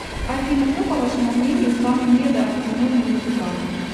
афина кто по вашему мнению самый недооцененный музыкант